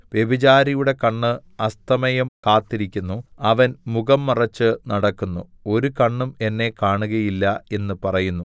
വ്യഭിചാരിയുടെ കണ്ണ് അസ്തമയം കാത്തിരിക്കുന്നു അവൻ മുഖം മറച്ച് നടക്കുന്നു ഒരു കണ്ണും എന്നെ കാണുകയില്ല എന്ന് പറയുന്നു